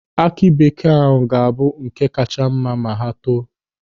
Aki bekee ahụ ga-abụ ọ̀kà kacha mma ma ha too.